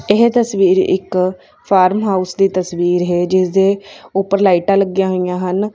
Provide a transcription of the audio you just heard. ਇਹ ਤਸਵੀਰ ਇੱਕ ਫਾਰਮ ਹਾਊਸ ਦੀ ਤਸਵੀਰ ਹੈ ਜਿਸਦੇ ਉੱਪਰ ਲਾਈਟਾਂ ਲੱਗੀਆਂ ਹੋਈਆਂ ਹਨ।